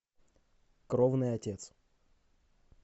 кровный отец